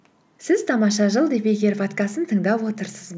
сіз тамаша жыл подкастын тыңдап отырсыз